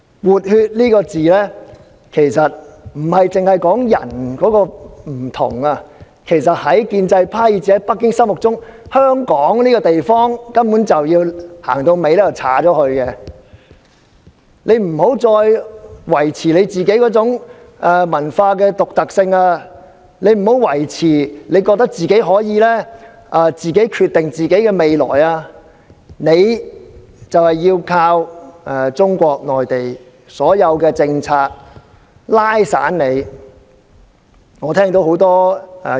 "換血"這個字不單說"人"有所不同，在建制派以至在北京的心目中，香港這地方到了最後，根本要被劃掉，即我們不能再維持我們固有的文化獨特性，也不要以為我們可以自行決定自己的未來——我們要依靠中國內地所有政策，所以要"打散"我們。